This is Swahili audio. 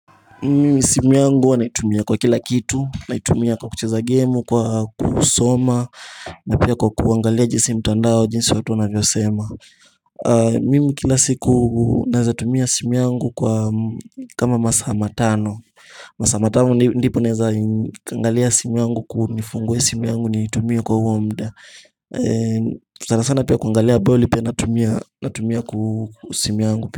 Simu yangu huwa naitumia kwa kila kitu, naitumia kwa kucheza gemu, kwa kusoma, na pia kwa kuangalia jinsi mtandao jinsi watu wanavyo sema Mimi kila siku naweza tumia simu yangu kwa kama masaa matano Massa matano ndipo naweza angalia simu yangu kunifungue simu yangu nitumie kwa huo muda sana sana pia kuangalia ball pia natumia natumia kwa simu yangu.